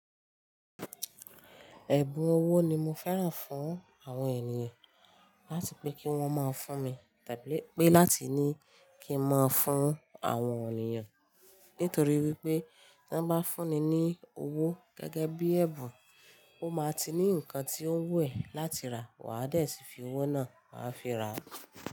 Ẹ̀bùn owó ni mo fẹ́ran fún àwọn ènìyàn. Láti pé kí wọ́n o mọ ń fún mi tàbí pé láti ní kí n mọ fún àwọn ènìyàn. Nítorí wípé tán bá fún ni ní owó gẹ́gẹ́ bí ẹ̀bùn, o máa ti ní ǹkan tí ó wù ẹ́ láti rà wà á dẹ̀ sì fi owó náà wà á fi ra á.